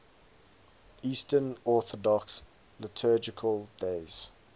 eastern orthodox liturgical days